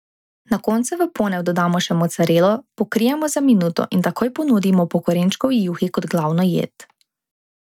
Na koncu v ponev dodamo še mocarelo, pokrijemo za minuto in takoj ponudimo po korenčkovi juhi kot glavno jed.